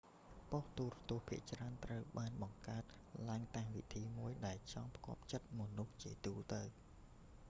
បុស្តិ៍ទូរទស្សន៍ភាគច្រើនត្រូវបានបង្កើតឡើងតាមវិធីមួយដែលចង់ផ្គាប់ចិត្តមនុស្សជាទូទៅ